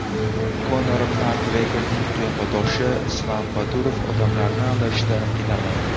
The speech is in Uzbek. Konor MakGregorning qiyofadoshi Islam Badurov odamlarni aldashda qiynalmayapti .